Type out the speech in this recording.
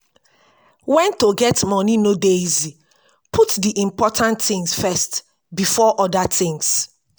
when to get money no dey easy put di important things first before oda things